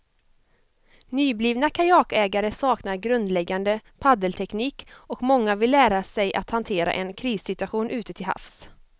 Nyblivna kajakägare saknar grundläggande paddelteknik och många vill lära sig att hantera en krissituation ute till havs.